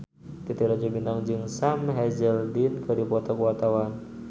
Titi Rajo Bintang jeung Sam Hazeldine keur dipoto ku wartawan